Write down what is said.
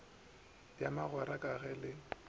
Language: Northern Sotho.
ya magwera ka ge le